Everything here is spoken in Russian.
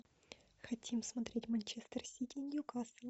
хотим смотреть манчестер сити ньюкасл